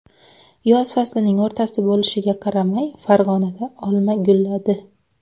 Yoz faslining o‘rtasi bo‘lishiga qaramay, Farg‘onada olma gulladi.